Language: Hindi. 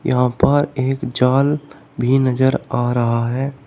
यहां पर एक जाल भी नजर आ रहा है।